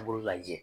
Bolo lajɛ